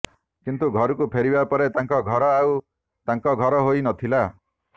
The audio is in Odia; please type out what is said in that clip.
କିନ୍ତୁ ଘରକୁ ଫେରିବା ପରେ ତାଙ୍କ ଘର ଆଉ ତାଙ୍କ ଘର ହୋଇ ନଥିଲା